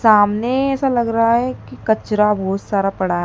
सामने ऐसा लग रहा है कि कचरा बहोत सारा पड़ा है।